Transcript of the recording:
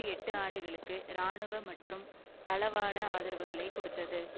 எட்டு ஆண்டுகளுக்கு இராணுவ மற்றும் தளவாட ஆதரவுகளை கொடுத்தது